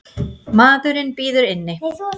Maðurinn bíður inni.